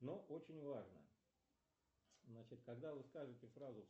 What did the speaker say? но очень важно значит когда вы скажете фразу